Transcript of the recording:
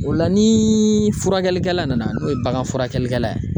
O la ni furakɛlikɛla nana n'o ye bagan furakɛlikɛla ye.